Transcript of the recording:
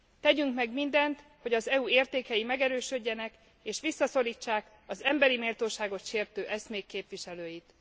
Tegyünk meg mindent, hogy az EU értékei megerősödjenek és visszaszorítsák az emberi méltóságot sértő eszmék képviselőit.